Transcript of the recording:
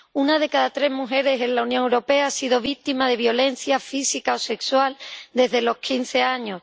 Una de cada tres mujeres en la Unión Europea ha sido víctima de violencia física o sexual desde los quince años